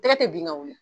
Tɛgɛ tɛ bin ka wuli